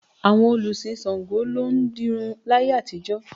Àwọn olùsìn Ṣàngó ló ń dirun láyé àtijọ́